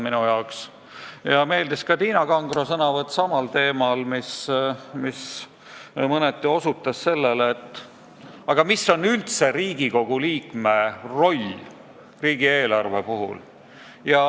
Mulle meeldis ka Tiina Kangro sõnavõtt samal teemal, mis mõneti osutas sellele, mis on üldse Riigikogu liikme roll riigieelarve puhul.